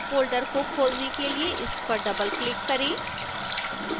folder को खोलने के लिए इस पर डबलक्लिक करें